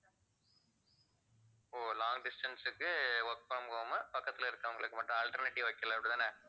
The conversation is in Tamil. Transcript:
ஓ long distance க்கு work from home உ பக்கத்துல இருக்கிறவங்களுக்கு மட்டும் alternative வைக்கல அப்படிதான